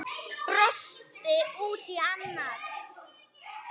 Brosti út í annað.